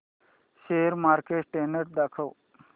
share market trend दाखव